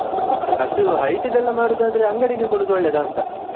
ಅಷ್ಟು height ದೆಲ್ಲಾ ಮಾಡುದಾದ್ರೆ ಅಂಗಡಿಗೆ ಕೊಡುದು ಒಳ್ಳೆದಾ ಅಂತ.